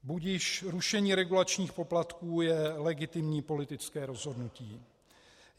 Budiž, rušení regulačních poplatků je legitimní politické rozhodnutí.